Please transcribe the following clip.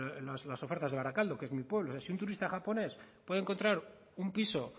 he mirado las ofertas de barakaldo que es mi pueblo es decir si un turista japonés puede encontrar un piso